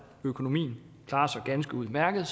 økonomien klarer sig ganske udmærket er